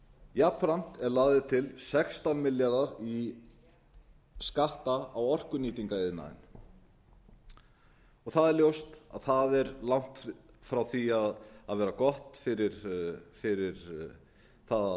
jafnframt eru lagðir til sextán milljarðar í skatta á orkunýtingariðnaðinn það er ljóst að það er langt frá því að vera gott fyrir það að